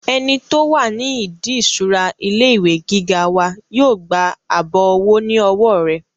ẹni tó wà ní ìdí ìṣura ilé ìwé gíga wa yóò gba àbọ̀ owó ní ọwọ́ rẹ̀